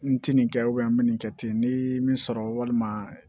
N ti nin kɛ n mi nin kɛ ten n ye min sɔrɔ walima